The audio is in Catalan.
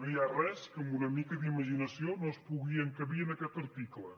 no hi ha res que amb una mica d’imaginació no es pugui encabir en aquest article